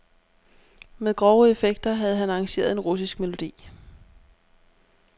Med grove effekter havde han arrangeret en russisk melodi.